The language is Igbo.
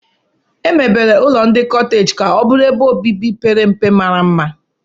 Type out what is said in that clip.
Emebere ụlọ ndị koteeji ka ọ bụrụ ebe obibi pere mpe mara mma.